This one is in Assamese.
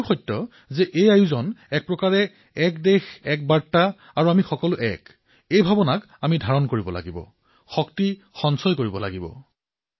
আৰু এয়াও সত্য যে এই সমগ্ৰ আয়োজন এক প্ৰকাৰে এক দেশএক বাৰ্তা আৰু আমি সকলো এক সেই ভাৱনাক প্ৰতিপন্ন কৰিব পৰাকৈ শক্তিশালী